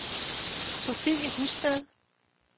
Sofie Husted